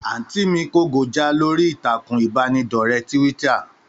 Àntí mí kó go já lórí ìtàkùn ìbánidọ́rẹ́ tíwíttà.